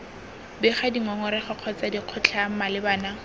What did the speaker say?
bega dingongorego kgotsa dikgotlhang malebana